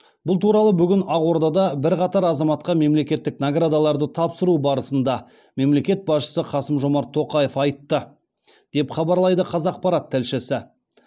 бұл туралы бүгін ақордада бірқатар азаматқа мемлекеттік наградаларды тапсыру барысында мемлекет басшысы қасым жомарт тоқаев айтты деп хабарлайды қазақпарат тілшісі